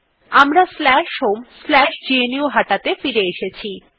আমরা homegnuhata ত়ে ফিরে এসেছি